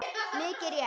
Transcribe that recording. Mikið rétt!